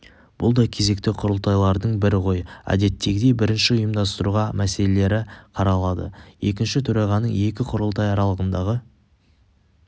бұл да кезекті құрылтайлардың бірі ғой әдеттегідей бірінші ұйымдастыру мәселелері қаралады екінші төрағаның екі құрылтай аралығындағы